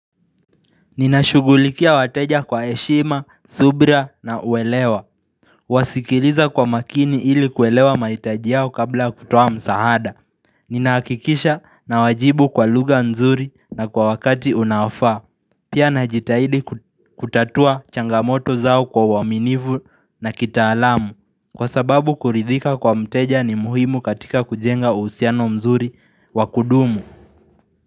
Ninashughulikia wateja kwa heshima, subira na uwelewa Wasikiliza kwa makini ili kuelewa mahitaji yao kabla kutoa msaada Nina hakikisha na wajibu kwa lugha nzuri na kwa wakati unaofaa Pia najitahidi kutatua changamoto zao kwa uaminivu na kitaalam, Kwa sababu kuridhika kwa mteja ni muhimu katika kujenga usiano mzuri wakudumu.